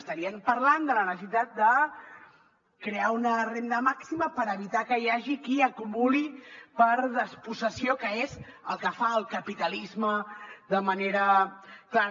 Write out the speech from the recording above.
estarien parlant de la necessitat de crear una renda màxima per evitar que hi hagi qui acumuli per despossessió que és el que fa el capitalisme de manera clara